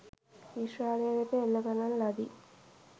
ඊශ්‍රායලය වෙත එල්ල කරන ලදී